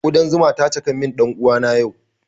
Kudan zuma ta caka min ɗan uwana yau